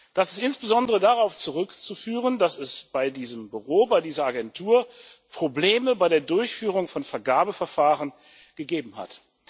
Das ist insbesondere darauf zurückzuführen, dass es bei diesem Büro, bei dieser Agentur Probleme bei der Durchführung von Vergabeverfahren gegeben hat.